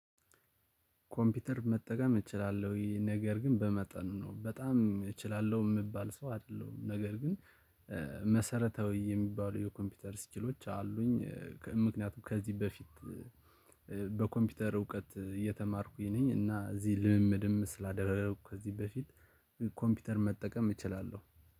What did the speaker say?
ኮምፒውተር መጠቀም እችላለሁ ይሄ ነገር ግን በመጠኑ ነው በጣም እችላለሁ የምባል ሰው አይደለሁም ነገር ግን መሰረታዊ የሚባሉ የኮምፒውተር ስኪሎች አሉኝ። ምክንያቱም ከዚህ በፊት በኮምፒውተር እውቀት እየተማርኩኝ ነኝ። እና እዚህ ልምምድም ስላደረኩ ከዚህ በፊት ኮምፒውተር መጠቀም እችላለሁ።